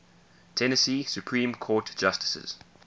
tennessee supreme court justices